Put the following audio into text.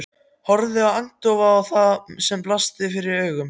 Horfði agndofa á það sem blasti við augum.